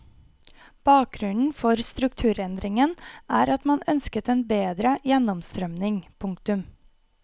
Bakgrunnen for strukturendringen er at man ønsket en bedre gjennomstrømning. punktum